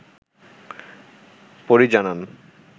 পরী জানান